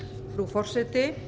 frú forseti